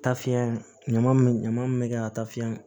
Tafiɲɛ ɲama min be ɲama mun be kɛ ka taa fiɲɛ